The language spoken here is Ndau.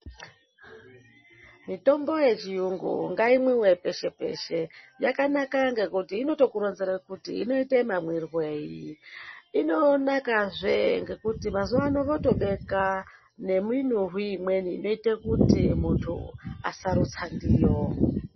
Mitombo yechirungu ngaimwiwe peshe peshe yakanaka kuti ino kuronzera kuti inoita mamwirwei inonaka zve nguti mazuva ano votobeka nemunhuhwi imweni inoita kuti muntu asarutsa ndiyo.